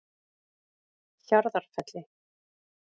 Hjarðarfelli